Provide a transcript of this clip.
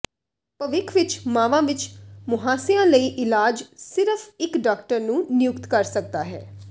ਭਵਿੱਖ ਵਿੱਚ ਮਾਵਾਂ ਵਿੱਚ ਮੁਹਾਂਸਿਆਂ ਲਈ ਇਲਾਜ ਸਿਰਫ ਇੱਕ ਡਾਕਟਰ ਨੂੰ ਨਿਯੁਕਤ ਕਰ ਸਕਦਾ ਹੈ